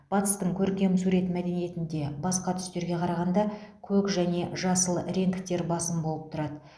батыстың көркем сурет мәдениетінде басқа түстерге қарағанда көк және жасыл реңктер басым болып тұрады